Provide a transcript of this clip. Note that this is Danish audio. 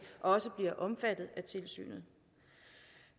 også bliver omfattet af tilsynet